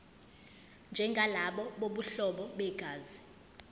njengalabo bobuhlobo begazi